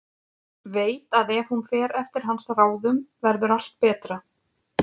Veit að ef hún fer eftir hans ráðum verður allt betra.